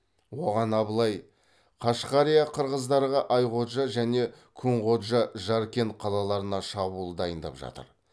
оған абылай қашқария қырғыздарға айходжа және күнходжа жаркент қалаларына шабуыл дайындап жатыр